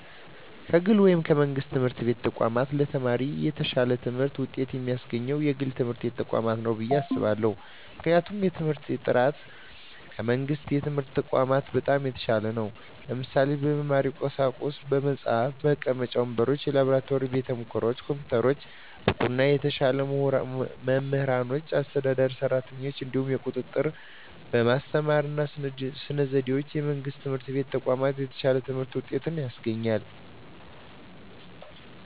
ከግል ወይም ከመንግሥት የትምህርት ተቋማት ለተማሪ የተሻለ ትምህርት ውጤት የሚያስገኘው የግል ትምህርት ተቋማት ነው ብየ አስባለሁ ምክንያቱም የትምህርት በጥራቱ ከመንግስት የትምህርት ተቋማት በጣም የተሻለ ነው ለምሳሌ - በመማሪያ ቁሳቁሶች በመፅሀፍ፣ መቀመጫ ወንበሮች፣ የላብራቶሪ ቤተሙከራዎች፣ ኮምፒውተሮች፣ ብቁና የተሻሉ መምህራኖችና አስተዳደር ሰራተኞች፣ እንዲሁም የቁጥጥ ርና በማስተማር ስነ ዘዴዎች ከመንግስት የትምህርት ተቋማት የተሻለ የትምህርት ውጤት ያስገኛል።